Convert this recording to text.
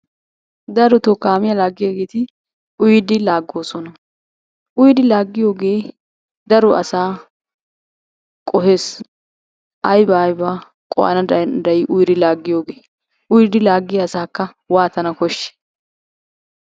Darotoo kaamiya laaggiyageeti uyidi laaggoosona. Uyidi laaggiyogee daro asaa qohes aybaa aybaa qohana danddayii uyidi laaggiyogee? Uyidi laaggiya asaakka waatana koshshii?